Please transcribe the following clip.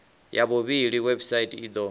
ya vhuvhili website i do